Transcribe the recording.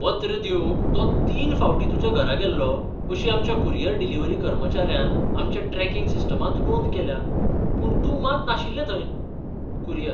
पत्र दिवंक तो तीन फावटीं तुज्या घरा गेल्लो अशी आमच्या कुरियर डिलिव्हरी कर्मचाऱ्यान आमच्या ट्रॅकिंग सिस्टमांत नोंद केल्या. पूण तूं मात नाशिल्लो थंय. कुरियर